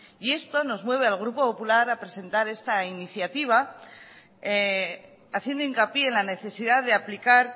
esto nos mueve al grupo popular a presentar esta iniciativa haciendo hincapié en la necesidad de aplicar